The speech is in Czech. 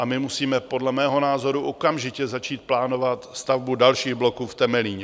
A my musíme podle mého názoru okamžitě začít plánovat stavbu dalších bloků v Temelíně.